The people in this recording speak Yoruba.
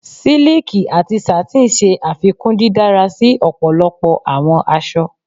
Siliki ati satin ṣe afikun didara si ọpọlọpọ awọn aṣọ